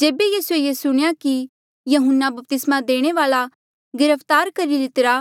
जेबे यीसूए ये सुणेया कि यहून्ना बपतिस्मा देणे वाल्आ गिरफ्तार करी लितिरा